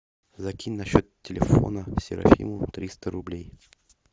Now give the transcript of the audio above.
закинь на счет телефона серафиму триста рублей